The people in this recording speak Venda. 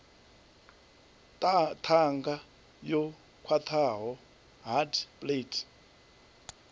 ṱhanga yo khwaṱhaho hard palate